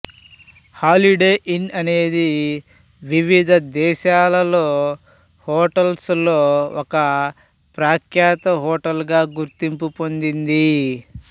holiday Inn అనేది వివిధ దేశాల్లో హోటల్స్ లో ఒక ప్రఖ్యాత హోటల్ గా గుర్తింపు పొందింది